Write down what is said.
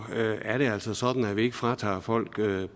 er det altså sådan at vi ikke fratager folk